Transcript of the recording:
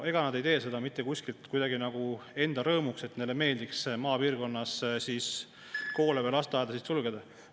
Ega nad ei tee seda mitte kuidagi nagu enda rõõmuks, sest neile meeldib maapiirkonnas koole või lasteaedu sulgeda.